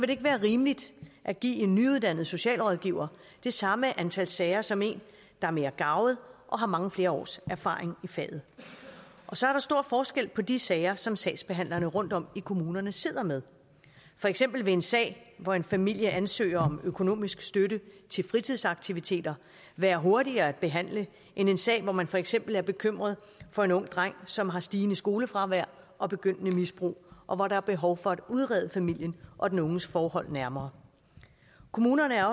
det ikke være rimeligt at give en nyuddannet socialrådgiver det samme antal sager som en der er mere garvet og har mange flere års erfaring i faget og så er der stor forskel på de sager som sagsbehandlerne rundtom i kommunerne sidder med for eksempel vil en sag hvor en familie ansøger om økonomisk støtte til fritidsaktiviteter være hurtigere at behandle end en sag hvor man for eksempel er bekymret for en ung dreng som har stigende skolefravær og begyndende misbrug og hvor der er behov for at udrede familien og den unges forhold nærmere kommunerne er